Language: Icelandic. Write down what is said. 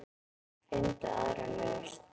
Finndu aðra lausn.